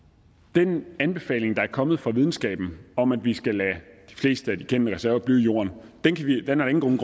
den anbefaling der er kommet fra videnskaben om at vi skal lade de fleste af de kendte reserver blive i jorden er der ingen